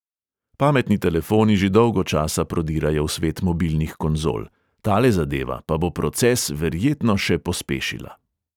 Pametni telefoni že dolgo časa prodirajo v svet mobilnih konzol, tale zadeva pa bo proces verjetno še pospešila.